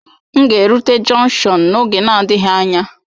M ga erụte jọnkshọn n'oge na-adịghị anya